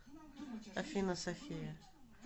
афина софия